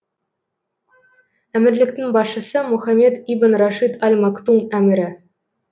әмірліктің басшысы мохаммед ибн рашид аль мактум әмірі